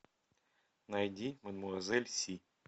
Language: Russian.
найди мадмуазель си